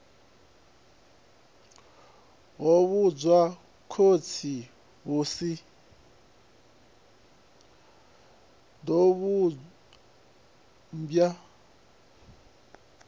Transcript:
ḓo vhumbwa khosi hu si